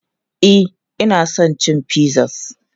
E, ina son cin pizzas.